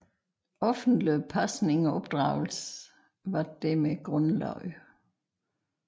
Offentlig pasning og opdragelse var dermed grundlagt